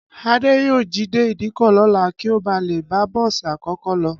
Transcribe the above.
Adé yóò jí dé ìdíkọ̀ lọ́la kí ó ba lè bá bọ́ọ̀sì àkọ́kọ́ lọ